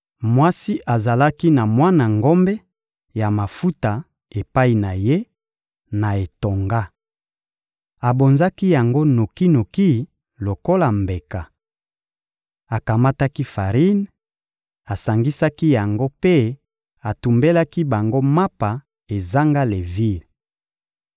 Mwasi azalaki na mwana ngombe ya mafuta epai na ye, na etonga. Abonzaki yango noki-noki lokola mbeka. Akamataki farine, asangisaki yango mpe atumbelaki bango mapa ezanga levire.